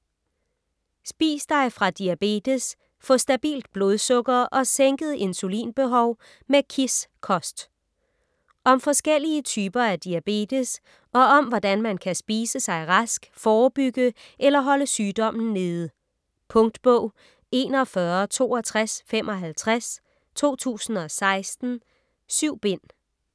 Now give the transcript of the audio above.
Spis dig fra diabetes: få stabilt blodsukker og sænket insulinbehov med KISS-kost Om forskellige typer af diabetes og om hvordan man kan spise sig rask, forebygge eller holde sygdommen nede. Punktbog 416255 2016. 7 bind.